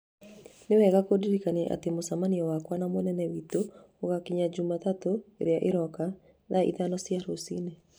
Nĩ wega kũndirikania atĩ mũcemanio wakwa na mũnene witũ ũgaakinya Jumatatu ĩrĩa ĩroka, thaa ithano cia rũcinĩ